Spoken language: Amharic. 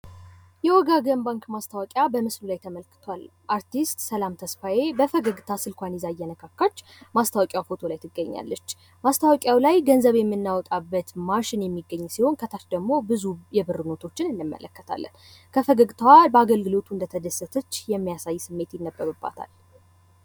የወጋገን ባንክ ማስታወቂያ በምስሉ ላይ ተመልክቷል። አርቲስት ሰላም ተስፋዬ በፈገግታ ስልኳን ይዛ እየነካካች ማስታወቂያ ፎቶ ላይ ትገኛለች። ማስታወቂያው ላይ ገንዘብ የምናወጣበት ማሽን የሚገኝ ሲሆን ከታች ደሞ ብዙ የብር ኖቶችን እንመለከታለን። ከፈገግታዋ በአገልግሎቱ እንደተደሰተች የሚያሳይ ስሜት ይነበብባታል።